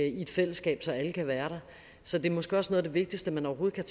i et fællesskab så alle kan være der så det er måske også noget af det vigtigste man overhovedet kan